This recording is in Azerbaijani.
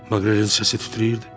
Maqrelin səsi titrəyirdi.